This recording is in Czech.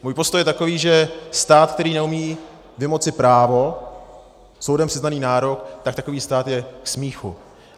Můj postoj je takový, že stát, který neumí vymoci právo, soudem přiznaný nárok, tak takový stát je k smíchu.